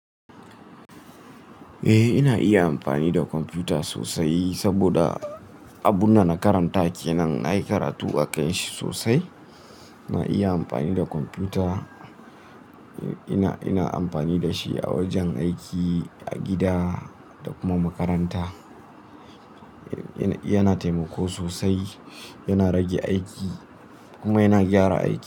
Eh, ina iya amfani da kwamfuta sosai saboda abun da na karanta kenan. Na yi karatu a kai shi sosai. Na iya amfani da kwamfuta. Ina, ina amfani da shi a wajen aiki, a gida da kuma makaranta. Yana taimako sosai, yana rage aiki kuma yana gyara aiki.